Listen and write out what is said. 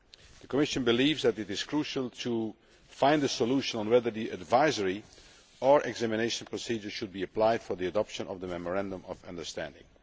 The Commission believes that it is crucial to find a solution to whether the advisory or examination procedure should be applied in the adoption of the Memorandum of Understanding.